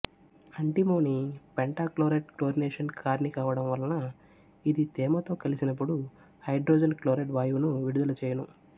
antimony pentachloride chlorination కారిణీ కావడం వలన ఇది తేమతో కలిసినపుడు హైడ్రోజన్ క్లోరైడ్ వాయువును విడుదల చేయును